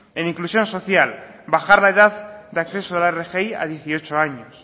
en inclusión social bajar la edad de acceso a la rgi a dieciocho años